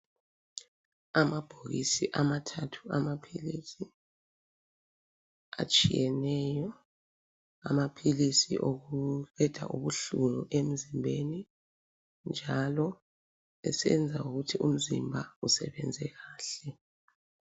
Amabhokisi amathathu amaphilisi atshiyeneyo amaphilisi okuqeda ubuhlungu emzimbeni njalo esenza ukuthi umzimba usebenze kahle.